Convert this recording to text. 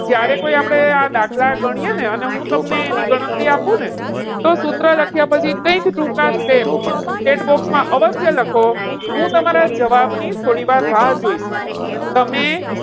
જ્યારે કોઈ આપણે આ દાખલા ગણીએ ને અને હું તમને એની ગણતરી આપને તો સૂત્ર લખ્યા પછી કંઈક ટૂંકા step chatbox માં અવશ્ય લખો. હું તમારા જવાબને થોડીવાર રાહ જોઇશ. તમે,